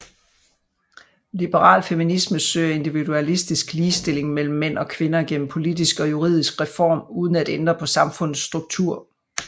Liberal feminisme søger individualistisk ligestilling mellem mænd og kvinder gennem politisk og juridisk reform uden at ændre på samfundets struktur